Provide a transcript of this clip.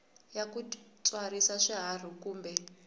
ya ku tswarisa swiharhi kumbe